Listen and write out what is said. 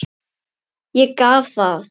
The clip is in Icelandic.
Ég gaf það.